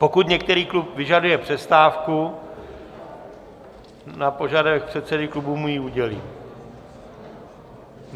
Pokud některý klub vyžaduje přestávku, na požadavek předsedy klubu mu ji udělím.